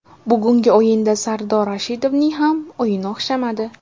Bugungi o‘yinda Sardor Rashidovning ham o‘yini o‘xshamadi.